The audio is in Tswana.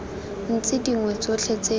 tse dingwe tsotlhe tse di